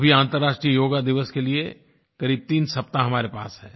अभी अन्तरराष्ट्रीय योग दिवस के लिये क़रीब तीन सप्ताह हमारे पास हैं